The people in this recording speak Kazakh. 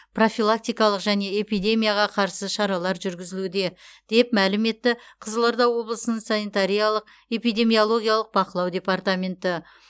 профилактикалық және эпидемияға қарсы шаралар жүргізілуде деп мәлім етті қызылорда облысының санитариялық эпидемиологиялық бақылау департаменті